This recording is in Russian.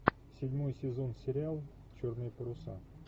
седьмой сезон сериал черные паруса